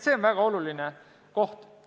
See on väga oluline koht.